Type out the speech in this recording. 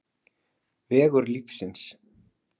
Vegur lífsins